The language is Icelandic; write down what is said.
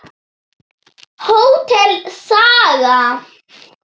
Hótel Saga.